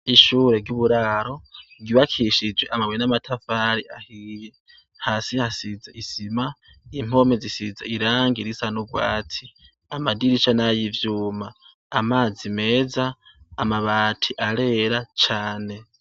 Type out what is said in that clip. Ishure ry'uburaro, ryubakishije amabuye n'amatafari ahiye. Hasi hasize isima, impome zisize irangi risa n'urwati. Amadirisha ni ay'ivyuma amazi meza amabati arera cyane.